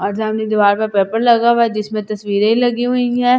और सामने दीवार पर पेपर लगा हुआ जिसमें तस्वीरे लगी हुई हैं।